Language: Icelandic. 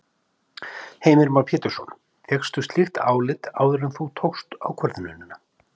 Heimir Már Pétursson: Fékkstu slíkt álit áður en þú tókst ákvörðunina?